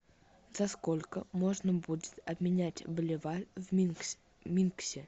за сколько можно будет обменять боливар в минске